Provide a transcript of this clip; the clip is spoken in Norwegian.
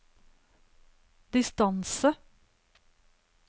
distance